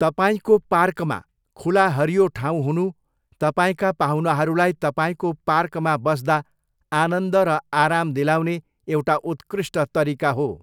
तपाईँको पार्कमा खुला हरियो ठाउँ हुनु तपाईँका पाहुनाहरूलाई तपाईँको पार्कमा बस्दा आनन्द र आराम दिलाउने एउटा उत्कृष्ट तरिका हो।